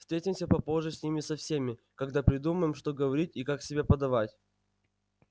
встретимся попозже с ними со всеми когда придумаем что говорить и как себя подавать